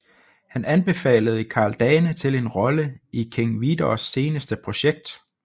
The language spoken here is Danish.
Han anbefalede Karl Dane til en rolle i King Vidors seneste projekt